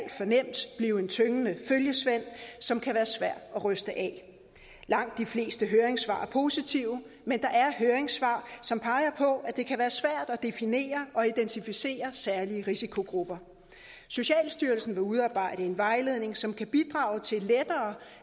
for nemt blive en tyngende følgesvend som kan være svær at ryste af langt de fleste høringssvar er positive men der er høringssvar som peger på at det kan være svært at definere og identificere særlige risikogrupper socialstyrelsen vil udarbejde en vejledning som kan bidrage til